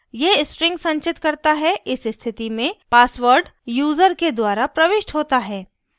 यह string संचित करता है इस स्थिति में password यूज़र के द्वारा प्रविष्ट होता है